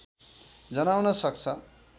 जनाउन सक्छ